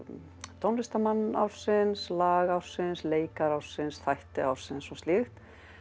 tónlistarmann ársins lag ársins leikara ársins þætti ársins og slíkt